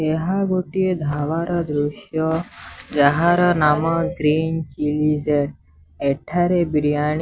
ଏହା ଗୋଟିଏ ଢାବାର ଦୃଶ୍ୟ ଯାହାର ନାମ ଗ୍ରୀନ ଚିଲି ଏଠାରେ ବିରିୟାଣୀ --